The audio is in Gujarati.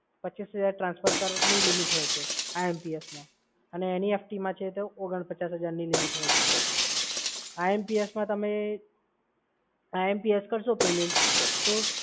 પચ્ચીસ હજાર ટ્રાન્સફર કર ની લિમિટ હોય છે IMPS માં અને NEFT માં છે તો ઓગણ પચાસ હજાર ની લિમિટ હોય છે સર. IMPS માં તમે IMPS કરશો પેમેન્ટ તો